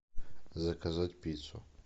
заказать пиццу